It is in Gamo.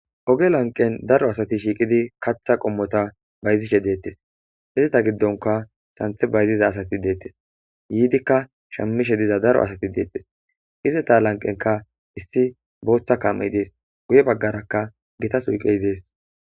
oge lanqen daro asati shiiqidi katha qommota bayzishe deettes hizeta giddonka santhe bayziza asati deettes yiidikka shammishe diza daro asati deettes ize ta lanqenka issi booththa kam7e dees guye baggarakka gitas uyqey dees